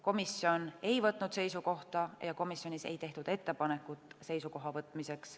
Komisjon ei võtnud seisukohta ja komisjonis ei tehtud komisjoni juhi poolt ettepanekut seisukoha võtmiseks.